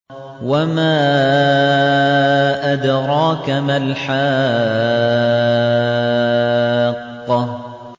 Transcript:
وَمَا أَدْرَاكَ مَا الْحَاقَّةُ